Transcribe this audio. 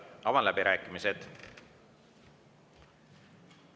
Avan läbirääkimised.